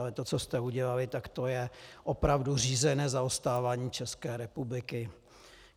Ale to, co jste udělali, tak to je opravdu řízené zaostávání České republiky.